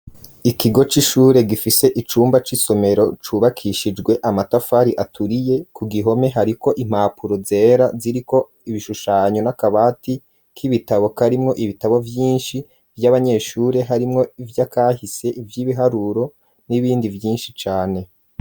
Ikigo c'ishure gifise icumba c'isomero cubakishijwe amatafari aturiye ku gihome hari ko impapuro zera ziri ko ibishushanyo n'akabati k'ibitabo karimwo ibitabo vyinshi vy'abanyeshure harimwo vy'akahise ivyibiharuro n'ibindi vyinshi cane.